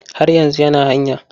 Har yanzu yana hanya.